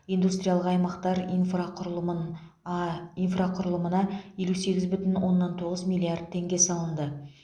индустриялық аймақтар инфрақұрылымын а инфрақұрылымына елу сегіз бүтін оннан тоғыз миллард теңге салынды